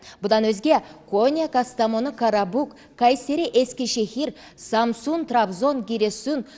бұдан өзге кония кастамону карабук кайсери эскишехир самсун трабзон гиресун